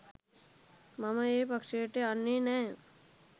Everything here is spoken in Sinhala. මම ඒ පක්‍ෂයට යන්නේ නෑ